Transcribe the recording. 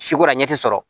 Si ko la ɲɛ ti sɔrɔ